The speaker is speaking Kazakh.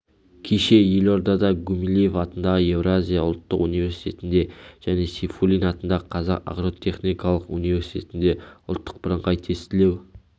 кеше елордада гумилев атындағы еуразия ұлттық университетінде және сейфуллин атындағы қазақ агротехникалық университетінде ұлттық бірыңғай тестілеу